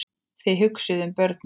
Þið hugsið um börnin.